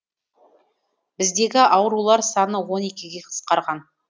біздегі аурулар саны он екіге қысқарған